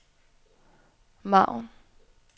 margen